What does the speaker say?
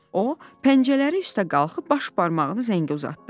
O pəncələri üstə qalxıb baş barmağını zəngə uzatdı.